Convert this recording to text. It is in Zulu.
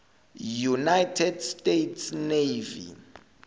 united states navy